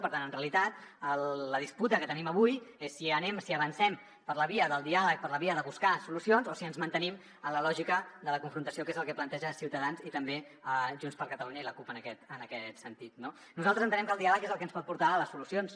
per tant en realitat la disputa que tenim avui és si anem si avancem per la via del diàleg per la via de buscar solucions o si ens mantenim en la lògica de la confrontació que és el que planteja ciutadans i també junts per catalunya i la cup en aquest sentit no nosaltres entenem que el diàleg és el que ens pot portar a les solucions